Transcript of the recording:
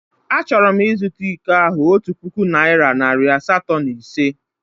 Achọrọ m ịzụta iko ahụ otu puku naịra nari asatọ na ise.